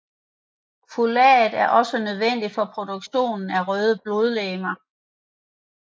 Folat er også nødvendig for produktionen af røde blodlegemer